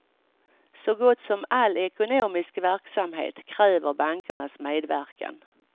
Så gott som all ekonomisk verksamhet kräver bankernas medverkan.